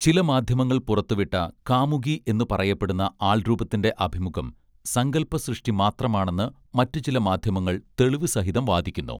ചില മാധ്യമങ്ങൾ പുറത്തുവിട്ട കാമുകി എന്നു പറയപ്പെടുന്ന ആൾരൂപത്തിന്റെ അഭിമുഖം സങ്കല്പ സൃഷ്ടി മാത്രമാണെന്ന് മറ്റു ചില മാധ്യമങ്ങൾ തെളിവു സഹിതം വാദിക്കുന്നു